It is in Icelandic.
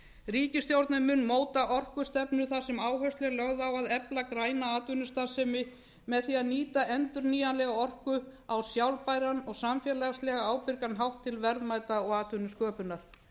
ríkisstjórnin mun móta orkustefnu þar sem áhersla er lögð á að efla græna atvinnustarfsemi með því að nýta endurnýjanlega orku á sjálfbæran og samfélagslega ábyrgan hátt til verðmæta og atvinnusköpunar